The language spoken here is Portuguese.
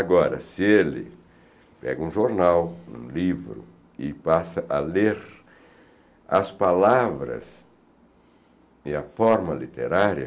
Agora, se ele pega um jornal, um livro, e passa a ler as palavras e a forma literária,